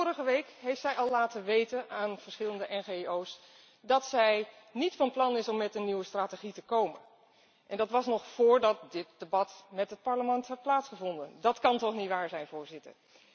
Maar vorige week heeft zij al aan verschillende NGO's laten weten dat zij niet van plan is om met een nieuwe strategie te komen en dat was nog voordat dit debat met het Parlement had plaatsgevonden. Dat kan toch niet waar zijn, Voorzitter!